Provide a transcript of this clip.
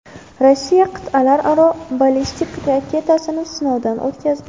Rossiya qit’alararo ballistik raketasini sinovdan o‘tkazdi.